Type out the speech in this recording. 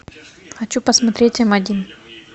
хочу посмотреть м один